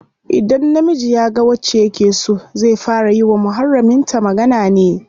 Idan namiji yaga wacce yake so, zai fara yi wa muharramin ta magana ne.